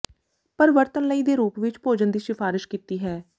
ਪਰ ਵਰਤਣ ਲਈ ਦੇ ਰੂਪ ਵਿੱਚ ਭੋਜਨ ਦੀ ਸਿਫਾਰਸ਼ ਕੀਤੀ ਹੈ